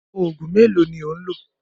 Òògùn mélòó ni ò ń lò?